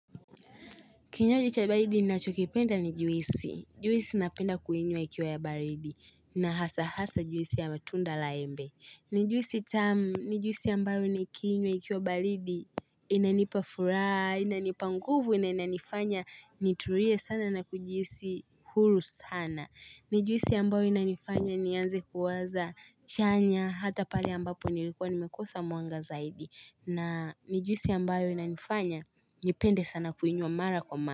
Kinywaji cha balidi, ni nachokipenda ni juisi. Juisi napenda kuinywa ikiwa ya balidi. Na hasa hasa juisi ya matunda la embe. Ni juisi tamu, ni juisi ambayo ni kuinywa ikiwa balidi. Inanipafuraha, inanipanguvu, na inanifanya, niturie sana na kujihisi hulu sana. Ni juisi ambayo inanifanya, nianze kuwaza chanya hata pale ambapo nilikuwa nimekosa mwanga zaidi. Na nijusi ambayo inanifanya nipende sana kuinywa mara kwa mara.